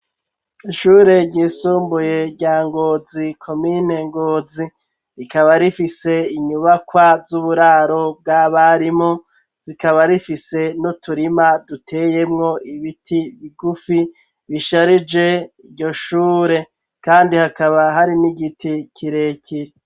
Ishure ryisumbuye rya Ngozi, komine Ngozi. Rikaba rifise inyubakwa z'uburaro bw'abarimu, rikaba rifise n'uturima duteyemwo ibiti bigufi, bisharije iryo shure. Kandi hakaba hari n'igiti kirekire.